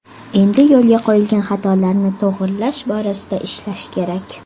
Endi yo‘lga qo‘yilgan xatolarni to‘g‘rilash borasida ishlash kerak.